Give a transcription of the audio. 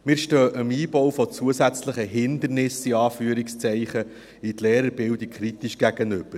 Wir stehen dem Einbau von zusätzlichen Hindernissen, in Anführungszeichen, in die Lehrerbildung kritisch gegenüber.